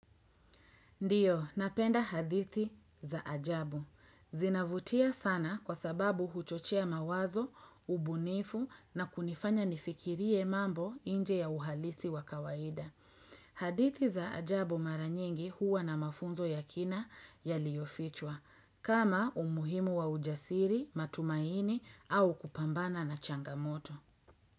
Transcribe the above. Ndiyo, napenda hadithi za ajabu. Zinavutia sana kwa sababu huchochoa mawazo, ubunifu na kunifanya nifikirie mambo nje ya uhalisi wa kawaida. Hadithi za ajabu mara nyingi huwa na mafunzo ya kina yaliyofichwa. Kama umuhimu wa ujasiri, matumaini au kupambana na changamoto.